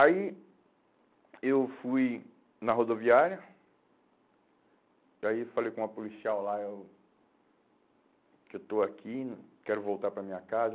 Aí, eu fui na rodoviária, e aí falei com uma policial lá, eu que eu estou aqui, quero voltar para a minha casa.